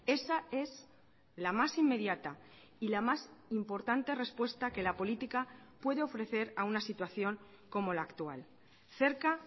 esa es la más inmediata y la más importante respuesta que la política puede ofrecer a una situación como la actual cerca